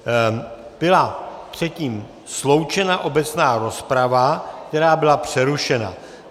Byla předtím sloučena obecná rozprava, která byla přerušena.